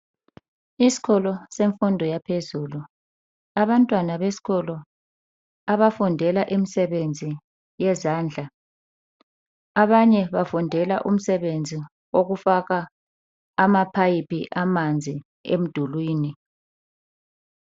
Isikolo semfundo yaphezulu . Abantwana besikolo abafundela imsebenzi yezandla. Abanye bafundela umsebenzi wokufaka ama pipe amanzi emdulwini.